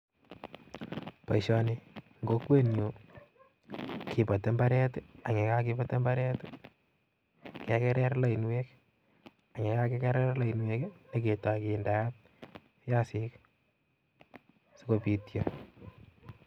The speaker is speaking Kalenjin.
Boishoni eng kokwenyun kibotii imbaret, ak ye kakibat imbaret kekerer lainwek ak, yekakekeer lainwek nyon keyoi kindeot biasik sikobityo